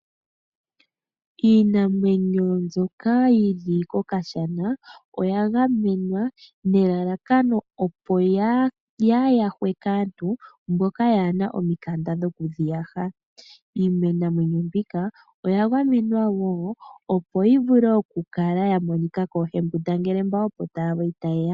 Iinamwenyo mbyoka yi li kokashana, oya gamenwa nelalakano opo yaa ha yahwe kaantu mboka yaa hena omikanda dho ku yi yaha. Iinamwenyo mbika oya gamenwa woo opo yimonike koohembundangele mboka opo ta ye ya.